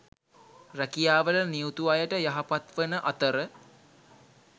රැකියාවල නියුතු අයට යහපත්වන අතර